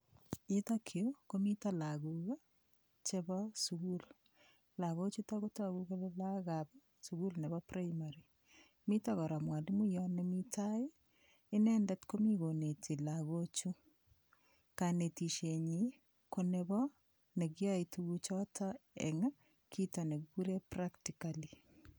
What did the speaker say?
Yutokyu komito lakok chebo sukul lakochuto kotoku kole lakokab sukul nebo primary mito kora mwalimuyot nemi tai inendet komi koneti lakochu kanetishenyi konebo nekiyoei tukuchoto eng' kito nekikure practically